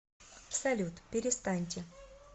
салют перестаньте